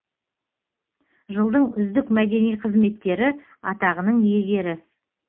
жылдың үздік мәдени қызметкері атағының иегері